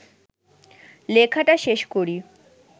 লেখাটা শেষ করি